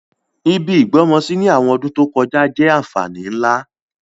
Ibi ìgbọ́mọsí ni àwọn ọdún to kojá jẹ́ ànfàní nlá.